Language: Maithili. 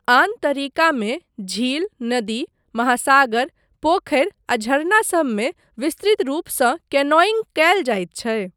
आन तरीकामे झील, नदी, महासागर, पोखरि आ झरना सबमे विस्तृत रूपसँ कैनोइंग कयल जाइत छै।